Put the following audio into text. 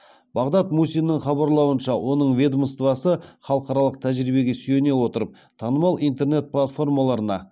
бағдат мусиннің хабарлауынша оның ведомствосы халықаралық тәжірибеге сүйене отырып танымал интернет платформаларына